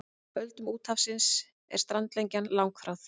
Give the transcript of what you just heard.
Öldum úthafsins er strandlengjan langþráð.